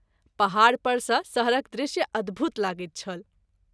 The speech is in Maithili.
पहाड़ पर सँ शहरक दृश्य अद्भुत लगैत छल।